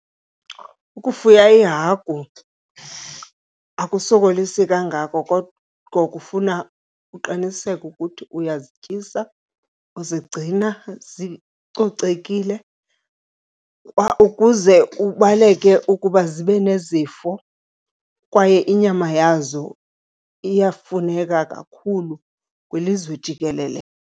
Ukufuya iihagu akusokolisi kangako kodwa kufuna uqiniseke ukuthi uyazityisa, uzigcina zicocekile ukuze ubaleke ukuba zibe nezifo kwaye inyama yazo iyafuneka kakhulu kwilizwe jikelele.